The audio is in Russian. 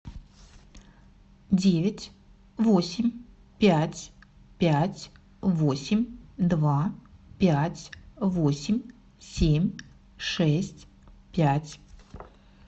девять восемь пять пять восемь два пять восемь семь шесть пять